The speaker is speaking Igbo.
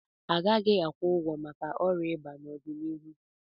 A gaghị akwụ ụgwọ maka ọgwụ ịba n'ọdịnihu.